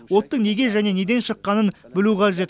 оттың неге және неден шыққанын білу қажет